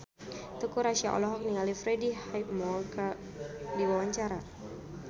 Teuku Rassya olohok ningali Freddie Highmore keur diwawancara